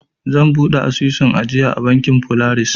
Zan buɗe asusun ajiya a bankin folaris.